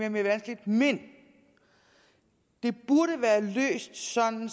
og mere vanskeligt men det burde være løst sådan